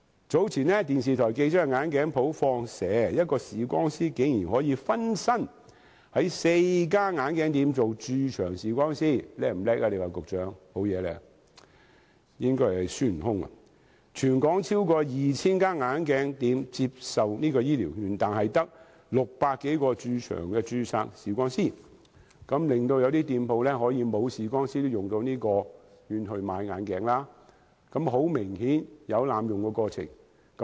早前電視台記者到眼鏡店"放蛇"，一位視光師分身在4間眼鏡店當駐場視光師——局長，你說他是不是很厲害，應該是孫悟空——全港超過 2,000 間眼鏡店接受醫療券，但只有600多名駐場註冊視光師，一些店鋪即使沒有駐場視光師，長者也可使用醫療券買眼鏡，很明顯有濫用的情況。